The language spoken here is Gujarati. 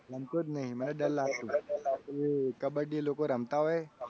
મને તો ગમતો જ નથી મને ડર લાગે છે. કે કબડ્ડી એ લોકો રમતા હોય.